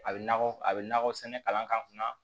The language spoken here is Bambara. A bɛ nakɔ a bɛ nakɔ sɛnɛ kalan kan